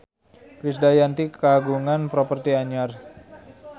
Krisdayanti kagungan properti anyar